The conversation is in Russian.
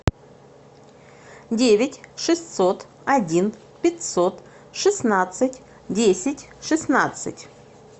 девять шестьсот один пятьсот шестнадцать десять шестнадцать